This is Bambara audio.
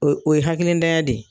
O ye o ye hakilitanya de